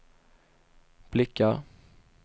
blickar